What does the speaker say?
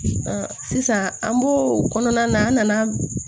sisan an bo o kɔnɔna na an nana